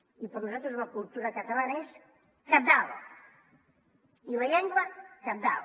i per a nosaltres la cultura catalana és cabdal i la llengua cabdal